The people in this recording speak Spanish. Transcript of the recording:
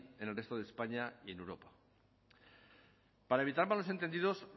en el resto de españa y en europa para evitar malos entendidos